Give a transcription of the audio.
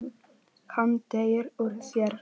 Hann teygir úr sér.